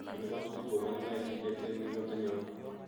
En kotugul ko moginoe kit ne ten kimnotenyon.